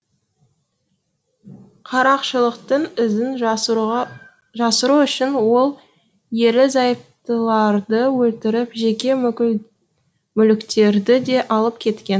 қарақшылықтың ізін жасыру үшін ол ерлі зайыптыларды өлтіріп жеке мүліктерді де алып кеткен